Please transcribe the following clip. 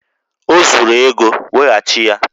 O zuru ego, weghachi ya!